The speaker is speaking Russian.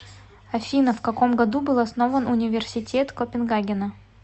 афина вкаком году был основан университет копенгагена